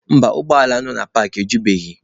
Mba, ụgbọ ala nọ na paakị ejubeghị.